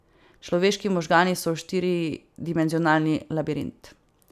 Človeški možgani so štiridimenzionalni labirint.